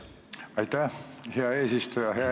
Aitäh, hea eesistuja!